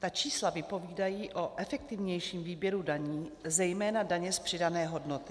Ta čísla vypovídají o efektivnějším výběru daní, zejména daně z přidané hodnoty.